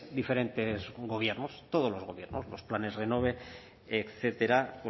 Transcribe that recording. diferentes gobiernos todos los gobiernos los planes renove etcétera